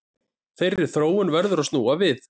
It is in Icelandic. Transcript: Þeirri þróun verður að snúa við